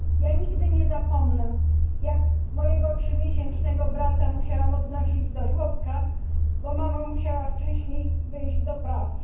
Ja nigdy nie zapomnę jak mojego trzymiesięcznego brata musiałam odnosić do żłobka, bo mama musiała wcześniej wyjść do pracy.